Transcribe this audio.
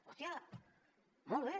hòstia molt bé